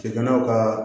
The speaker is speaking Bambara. Cɛkɛnɛnw ka